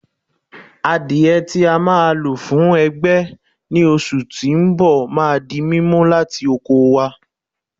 Àdiẹ tí a ma lò fuń ẹgbẹ́ ni oṣù tí ń bọ̀ ma di mímú láti oko wá